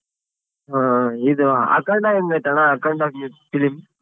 ಹಾ ಇದು ಅಖಂಡ ಹೆಂಗೈತಣ್ಣ ಅಖಂಡ film?